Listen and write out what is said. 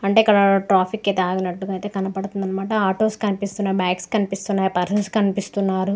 అంటే ఇక్కడ ట్రాఫిక్ అయితే ఆగినటుగా కనబడతుంది అనమాట ఆటోస్ కనిపిస్తున్నాయ్ బైక్స్ కనిపిస్తున్నాయ్ పర్సన్స్ కనిపిస్తున్నారు.